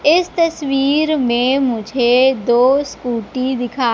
इस तस्वीर में मुझे दो स्कूटी दिखा--